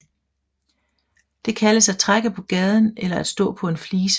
Det kaldes at trække på gaden eller at stå på en flise